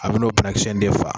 A bin'o kilancɛ de faa